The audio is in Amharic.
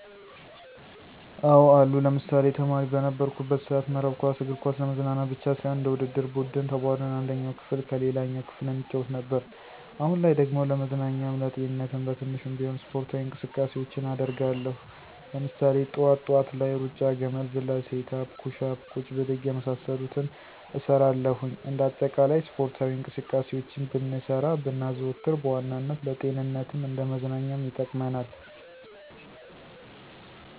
አዎ አሉ። ለምሳሌ፦ ተማሪ በነበርኩበት ሰአት መረብ ኳስ፣ እግር ኳስ ለመዝናናት ብቻ ሳይሆን እንደ ውድድር ቡድን ተቧድነን አንደኛው ክፍል ከሌላኛው ክፍል እንጫወት ነበር። አሁን ላይ ደግሞ ለመዝናኛም ለጤንነትም በትንሹም ቢሆን ስፖርታዊ እንቅስቃሴውችን አደርጋለው። ለምሳሌ፦ ጥዋት ጥዋት ላይ ሩጫ፣ ገመድ ዝላይ፣ ሴት አፕ፣ ኩሽ አፕ፣ ቁጭ ብድግ የመሳሰሉትን እሰራለሁኝ። እንደ አጠቃላይ ስፖርታዊ እንቅስቃሴውችን ብንሰራ ብናዘወትር በዋናነት ለጤንነትም እንደ መዝናኛም ይጠቅመናል።